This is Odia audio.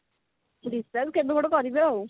discharge କେବେ ଗୋଟେ କରିବେ ଆଉ